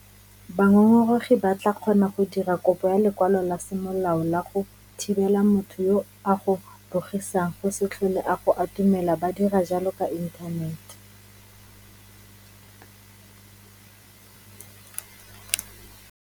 Bangongoregi ba tla kgona go dira kopo ya lekwalo la semolao la go thibela motho yo a go bogisang go se tlhole a go atumela ba dira jalo ka inthanete.